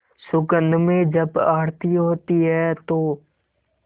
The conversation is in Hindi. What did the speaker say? सुगंध में जब आरती होती है तो